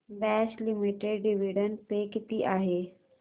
Bosch limited dividend pay किती आहे